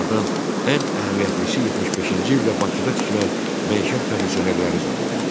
Onlardan ən əhəmiyyətlisi 75-ci ildə Bakıda tikilən məişət kondisionerləri zavodu idi.